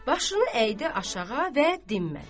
Başını əydi aşağı və dinmədi.